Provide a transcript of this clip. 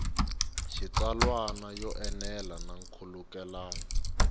xitsalwana yo enela na nkhulukelano